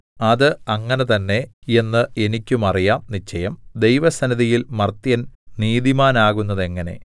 അത് അങ്ങനെ തന്നെ എന്ന് എനിക്കും അറിയാം നിശ്ചയം ദൈവസന്നിധിയിൽ മർത്യൻ നീതിമാനാകുന്നതെങ്ങനെ